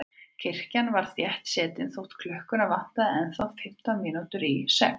Kirkjan var þéttsetin þótt klukkuna vantaði ennþá fimmtán mínútur í sex.